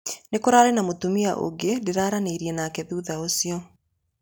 Nikũrarĩ na mũtumia ũngi ndĩraranĩirie nake thutha ũcio.